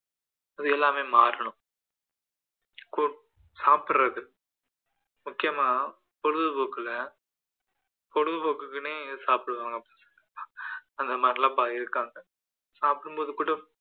இது எல்லாமே மாறணும் சாப்பிடுறது முக்கியமா பொழுதுபோக்குல பொழுதுபோக்குக்குன்னே சாப்பிடுவாங்க அந்த மாதிரிலாம் இருக்காங்க சாப்பிடும்போதுகூட